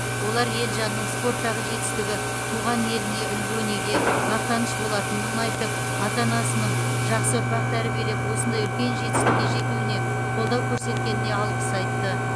олар елжанның спорттағы жетістігі туған еліне үлгі өнеге мақтаныш болатынын айтып ата анасының жақсы ұрпақ тәрбиелеп осындай үлкен жетістікке жетуіне қолдау көрсеткеніне алғыс айтты